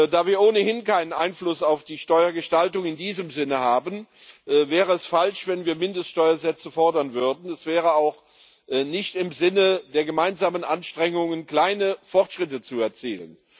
Da wir ohnehin keinen Einfluss auf die Steuergestaltung in diesem Sinne haben, wäre es falsch, wenn wir Mindeststeuersätze fordern würden. Es wäre auch nicht im Sinne der gemeinsamen Anstrengungen, kleine Fortschritte zu erzielen.